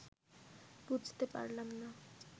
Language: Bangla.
বুঝতে পারলাম না